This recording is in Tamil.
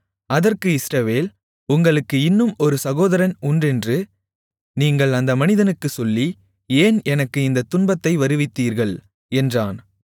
அதற்கு இஸ்ரவேல் உங்களுக்கு இன்னும் ஒரு சகோதரன் உண்டென்று நீங்கள் அந்த மனிதனுக்குச் சொல்லி ஏன் எனக்கு இந்தத் துன்பத்தை வருவித்தீர்கள் என்றான்